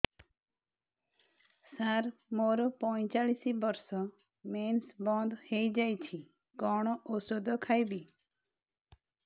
ସାର ମୋର ପଞ୍ଚଚାଳିଶି ବର୍ଷ ମେନ୍ସେସ ବନ୍ଦ ହେଇଯାଇଛି କଣ ଓଷଦ ଖାଇବି